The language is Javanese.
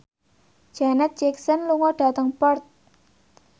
Janet Jackson lunga dhateng Perth